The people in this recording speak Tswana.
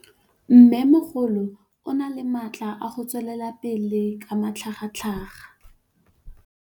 Mmêmogolo o na le matla a go tswelela pele ka matlhagatlhaga.